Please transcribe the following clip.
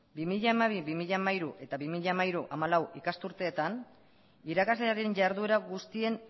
hogei mila hamabi bi mila hamairu eta bi mila hamairu bi mila hamalau ikasturteetan irakaslearen jarduera guztien